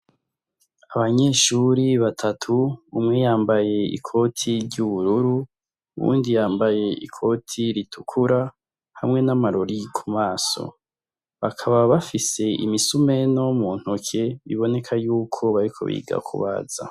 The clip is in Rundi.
Abanyeshuri batatu umwe yambaye ikoti ry'ubururu uwundi yambaye ikoti ritukura hamwe n'amarori ku maso. Bakaba bafise imisumeno mu ntoke iboneka yuko bariko biga ku baza.